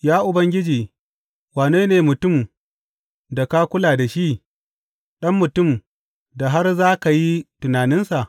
Ya Ubangiji, wane ne mutum da ka kula da shi, ɗan mutum da har za ka yi tunaninsa?